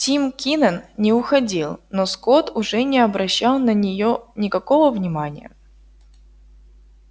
тим кинен не уходил но скотт уже не обращал на неё никакого внимания